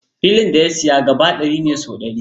Filin da ya siya gaba ɗari ne sau ɗari.